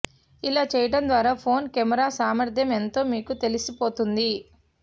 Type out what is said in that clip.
ఇలా చేయటం ద్వారా ఫోన్ కెమెరా సామర్థ్యం ఎంతో మీకు తెలిసిపోతుంది